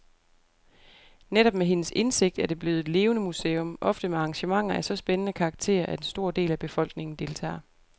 Netop med hendes indsigt er det blevet et levende museum, ofte med arrangementer af så spændende karakter, at en stor del af befolkningen deltager.